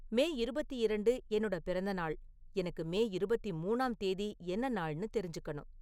மே இருபத்தி இரண்டு என்னோட பிறந்த நாள், எனக்கு மே இருபத்தி மூணாம் தேதி என்ன நாள்னு தெரிஞ்சுக்கணும்